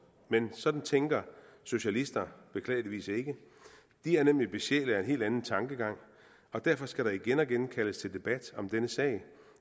men sådan tænker socialister beklageligvis ikke de er nemlig besjælet af en helt anden tankegang og derfor skal der igen og igen kaldes til debat om denne sag